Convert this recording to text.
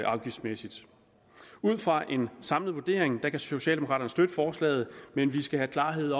afgiftsmæssigt ud fra en samlet vurdering kan socialdemokraterne støtte forslaget men vi skal have klarhed